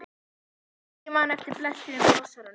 Hvort ég man eftir blessuðum blossanum?